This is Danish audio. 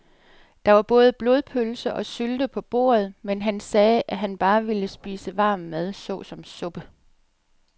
Der var både blodpølse og sylte på bordet, men han sagde, at han bare ville spise varm mad såsom suppe.